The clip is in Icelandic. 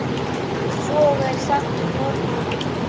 En svo er sagt um nornir.